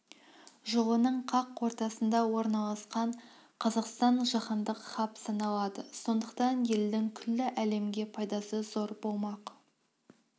жолының қақ ортасында орналасқан қазақстан жаһандық хаб саналады сондықтан елдің күллі әлемге пайдасы зор болмақ